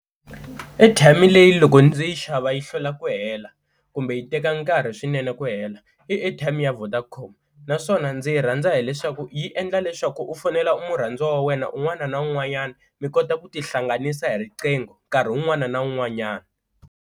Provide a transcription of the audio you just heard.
Airtime leyi loko ndzi yi xava yi hlwela ku hela kumbe yi teka nkarhi swinene ku hela i airtime ya Vodacom, naswona ndzi yi rhandza hileswaku yi endla leswaku u fonela murhandziwa wa wena un'wana na un'wanyana mi kota ku tihlanganisa hi riqingho nkarhi un'wana na un'wanyana.